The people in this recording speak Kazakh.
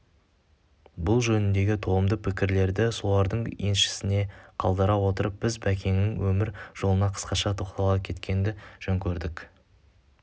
бұл жөніндегі толымды пікірлерді солардың еншісіне қалдыра отырып біз бәкеңнің өмір жолына қысқаша тоқтала кеткенді жөн көрдік